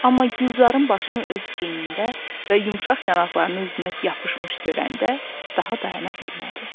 Amma Gülzarın başını öz çiynində və yumşaq yanaqlarını üzünə yapışmış görəndə daha dayana bilmədi.